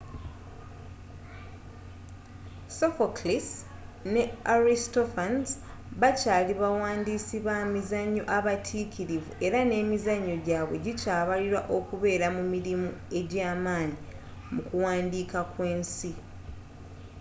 sophocles ne aristophanes bakyaali bawandiisi bamizanyo abatikirivu era nemizanyo gyaabwe gikyabalibwa okubeera mu mirimu egyamaanyi mu kuwandiika kw'ensi